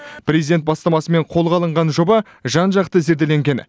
президент бастамасымен қолға алынған жоба жан жақты зерделенген